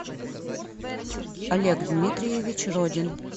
олег дмитриевич родин